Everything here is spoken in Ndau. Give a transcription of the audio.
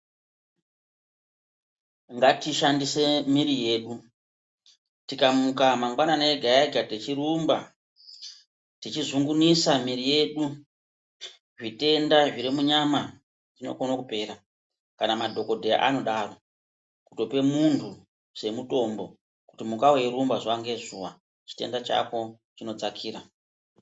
Ngatishandise miri yedu, tikamuka mangwanani ega-ega tichirumba, tichizungunisa miri yedu, zvitenda zviri munyama zvinokona kupera ,kana madhokodheya anodaro, kutope muntu semutombo kuti muka weyirumba zuwa ngezuwa, chitenda chako chinodzakira.